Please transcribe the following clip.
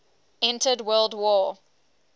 entered world war